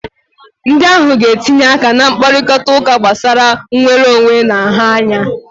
Ndị ohu ga-etinye aka na mkparịta ụka gbasara nnwere onwe na nha anya